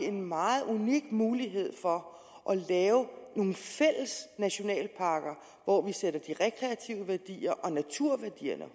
en meget unik mulighed for at lave nogle fælles nationalparker hvor vi sætter de rekreative værdier og naturværdierne